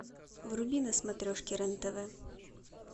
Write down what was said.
вруби на смотрешке рен тв